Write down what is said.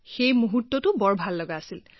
সেই মুহূৰ্তটো বৰ ভাল লাগিছিল